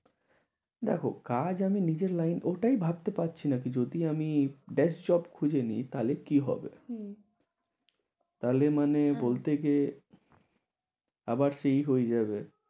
দেখো কাজ আমি নিজের লাইন ওটাই ভাবতে পারছিনা, কিছু যদি আমি best job খুঁজে নিই তাহলে কি হবে। তার মানে বলতে যে আবার সেই হয়ে যাবে।